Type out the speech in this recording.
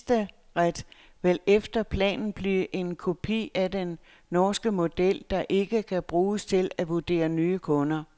Registeret vil efter planen blive en kopi af den norske model, der ikke kan bruges til at vurdere nye kunder.